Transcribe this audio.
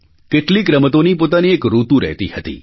કેટલીક રમતોની પોતાની એક ઋતુ રહેતી હતી